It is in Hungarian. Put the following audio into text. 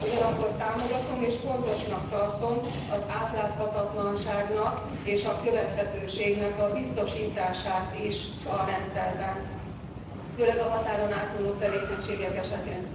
Ugyanakkor támogatom és fontosnak tartom az átláthatatlanságnak és a követhetőségnek a biztosítását is a rendszerben, főleg a határon átnyúló tevékenységek esetén.